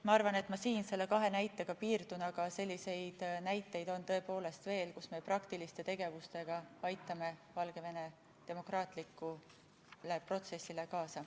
Ma arvan, et ma siinkohal nende kahe näitega piirdun, aga selliseid näiteid on veel, kuidas me tõepoolest praktiliste tegevustega aitame Valgevene demokraatlikule protsessile kaasa.